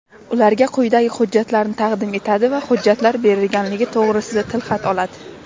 ularga quyidagi hujjatlarni taqdim etadi va hujjatlar berilganligi to‘g‘risida tilxat oladi:.